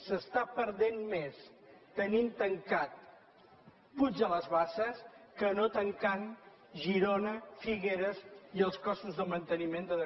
s’està perdent més tenint tancat puig de les basses que no tancant girona figueres i els costos de manteniment de